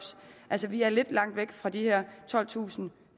altså vi er lidt langt væk fra de her tolvtusinde